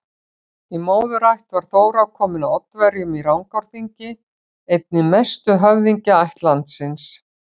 Í móðurætt var Þóra komin af Oddaverjum í Rangárþingi, einni mestu höfðingjaætt landsins.